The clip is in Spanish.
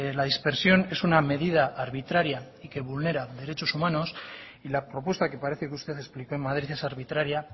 la dispersión es una medida arbitraria y que vulnera derechos humanos y la propuesta que parece que usted explicó en madrid es arbitraria